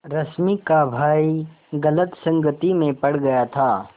रश्मि का भाई गलत संगति में पड़ गया था